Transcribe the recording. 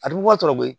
A bɛ bɔ tɔbobo